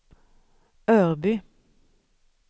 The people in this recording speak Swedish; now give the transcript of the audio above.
Örby